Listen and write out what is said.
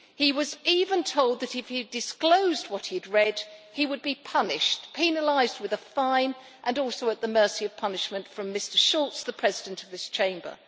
He was even told that if he disclosed what he had read he would be punished, penalised with a fine and also at the mercy of punishment from Mr Schulz, the President of this Chamber.